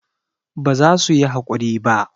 ba za su yi hakuri ba